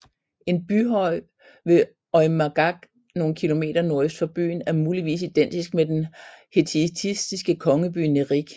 En byhøj ved Oymaagac nogle kilometer nordøst for byen er muligvis identisk med den hetitiske kongeby Nerik